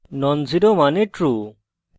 non zero means true